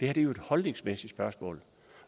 er jo et holdningsmæssigt spørgsmål